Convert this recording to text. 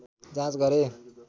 जाँच गरे